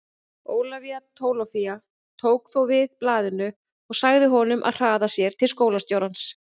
Ólafía Tólafía tók þó við blaðinu og sagði honum að hraða sér til skólastjórans.